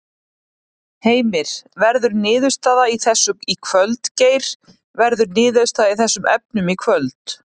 Heimir: Verður niðurstaða í þessu í kvöld Geir, verður niðurstaða í þessum efnum í kvöld?